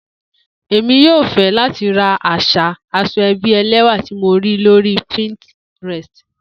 Emi yoo fẹ lati ran aṣa asoebi ẹlẹwà ti mo rii lori pinterest.